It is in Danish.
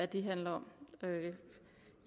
det handler om